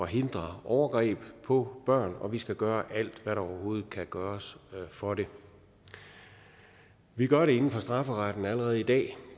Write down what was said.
hindre overgreb på børn og vi skal gøre alt hvad der kan gøres for det vi gør det inden for strafferetten allerede i dag